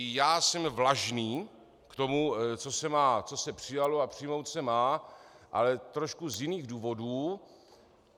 I já jsem vlažný k tomu, co se přijalo a přijmout se má, ale trochu z jiných důvodů.